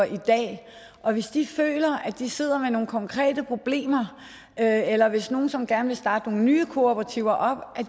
i dag og hvis de føler at de sidder med nogle konkrete problemer eller eller hvis nogen som gerne vil starte nogle nye kooperativer